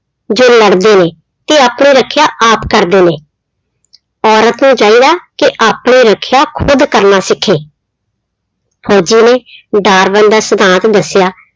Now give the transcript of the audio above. ਜੋ ਲੜਦੇ ਨੇ, ਤੇ ਆਪਣੀ ਰੱਖਿਆ ਆਪ ਕਰਦੇ ਨੇ ਔਰਤ ਨੂੰ ਚਾਹੀਦਾ ਕਿ ਆਪਣੀ ਰੱਖਿਆ ਖੁੱਦ ਕਰਨਾ ਸਿੱਖੇ ਫ਼ੋਜ਼ੀ ਨੇ ਡਾਰਬਨ ਦਾ ਸਿਧਾਂਤ ਦੱਸਿਆ।